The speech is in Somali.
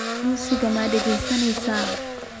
Muusig ma dhegeysaneysaa?